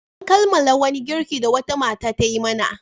An kammala wani girki da wata mata ta yi mana.